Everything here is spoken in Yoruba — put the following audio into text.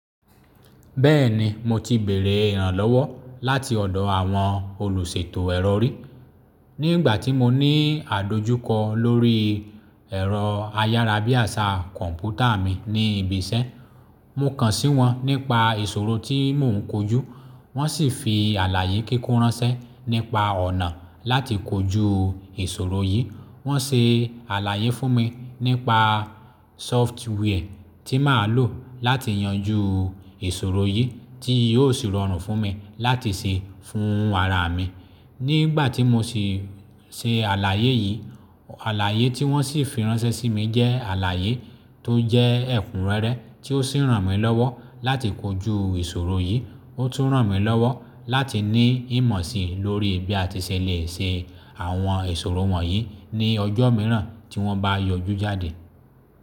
Bẹ́ẹ̀ni, mo ti bèrè ìrànlọ́wọ́ láti ọ̀dọ̀ àwọn olùṣètò ẹ̀rọ rí. Ní ìgbà tí mo ní àdojúkọ lórí ẹ̀rọ ayárabíàṣá kọ̀ǹpútà mi ní ibi iṣẹ́, mo kàn sí wọn nípa ìṣòro tí mò ń kojú, wọ́n sì fi àlàyé kíkún ránṣẹ́ nípa ọ̀nà láti kojú ìṣòro yìí. Wọ́n se àlàyé fún mi nípa sóftware ti máa lò láti yanjú ìṣòro yìí tí yóò sì rọrùn fún mi láti ṣe fún ara mi. Ní ìgbà tí mo sì se àlàyé yìí, àlàyé tí wọ́n sì fi ránṣẹ́ sí mi jẹ́ àlàyé tó jẹ́ ẹ̀kúnrẹ́rẹ́ tí ó sì ràn mí lọ́wọ́ láti kojú ìṣòro yìí. Ó tún ràn mí lọ́wọ́ láti ní ìmọ̀ si lórí bí a ti ṣe lè ṣe àwọn ìṣòro wọ̀nyí ní ọjọ́ mìíràn tí wọn bá yọjú jáde.